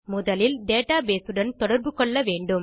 முதலில் டேட்டாபேஸ் உடன் தொடர்பு கொள்ள வேண்டும்